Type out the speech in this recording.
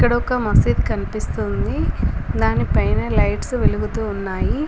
ఒక మసీద్ కన్పిస్తుంది. దానిపైన లైట్స్ వెలుగుతూ ఉన్నాయి.